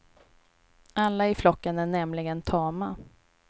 Alla i flocken är nämligen tama.